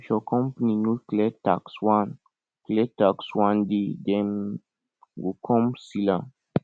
if your company no clear tax one clear tax one day dem go come seal am